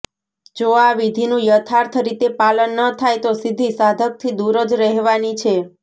જો આ વિધિનું યથાર્થ રીતે પાલન ન થાય તો સિદ્ધિ સાધકથી દૂર જ રહેવાની છે